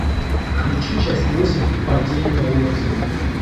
включи часть восемь падение ордена